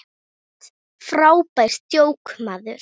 Frábært djók, maður!